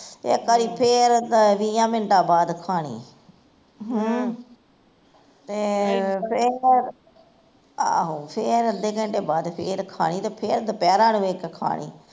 ਇੱਕ ਵਾਰੀ ਫੇਰ ਵੀਹਾ ਮਿੰਟਾਂ ਬਾਦ ਖਾਣੀ ਹਮ ਤੇ ਫੇਰ ਆਹੋ ਤੇ ਫੇਰ ਅੱਧੇ ਘੰਟੇ ਬਾਦ ਫੇਰ ਖਾਣੀ ਤੇ ਫੇਰ ਦੁਪੈਰਾ ਨੂੰ ਖਾਣੀ